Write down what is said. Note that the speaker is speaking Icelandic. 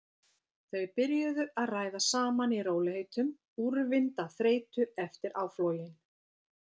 Þau byrjuðu að ræða saman í rólegheitum, úrvinda af þreytu eftir áflogin.